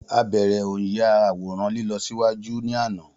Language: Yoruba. A bẹrẹ o nya àwòrán lílọ ṣíwájú ní àná